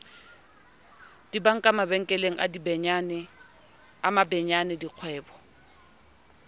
dibanka mabenkele a mabenyane dikgwebo